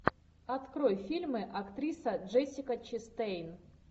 открой фильмы актриса джессика честейн